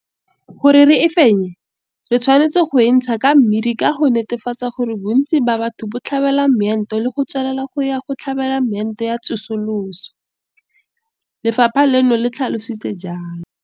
Gore re e fenye, re tshwanetse go e ntsha ka mmidi ka go netefatsa gore bontsi ba batho bo tlhabela moento le go tswelela go ya go tlhabela meento ya tsosoloso, lefapha leno le tlhalositse jalo.